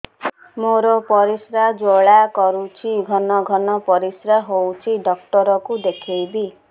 ମୋର ପରିଶ୍ରା ଜ୍ୱାଳା କରୁଛି ଘନ ଘନ ପରିଶ୍ରା ହେଉଛି ଡକ୍ଟର କୁ ଦେଖାଇବି